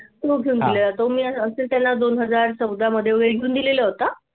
तो घेऊन दिला जातो मी असेल त्यांना दोन हजार चौदा मध्ये वैधून दिलेला होता.